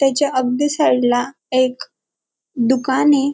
त्याच्या अगदी साइड ला एक दुकानय.